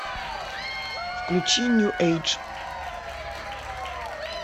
включи нью эйдж